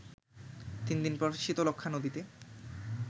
তিন দিন পর শীতলক্ষ্যা নদীতে